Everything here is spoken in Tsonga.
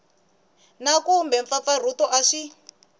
na kumbe mpfampfarhuto a swi